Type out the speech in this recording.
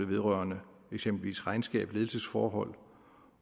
vedrørende eksempelvis regnskab ledelsesforhold